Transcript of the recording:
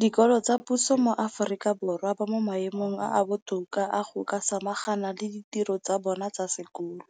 dikolo tsa puso mo Aforika Borwa ba mo maemong a a botoka a go ka samagana le ditiro tsa bona tsa sekolo,